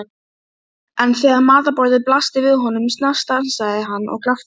Hann leiddi stelpurnar, sem voru enn snöktandi.